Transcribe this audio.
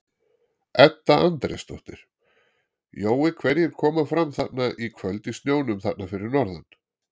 Edda Andrésdóttir: Jói hverjir koma fram þarna í kvöld í snjónum þarna fyrir norðan?